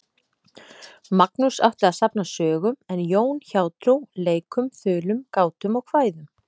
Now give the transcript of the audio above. Magnús átti að safna sögum en Jón hjátrú, leikum, þulum, gátum og kvæðum.